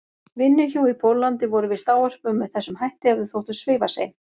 vinnuhjú í Póllandi voru víst ávörpuð með þessum hætti ef þau þóttu svifasein.